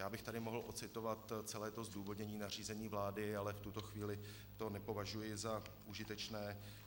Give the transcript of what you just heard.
Já bych tady mohl ocitovat celé to zdůvodnění nařízení vlády, ale v tuto chvíli to nepovažuji za užitečné.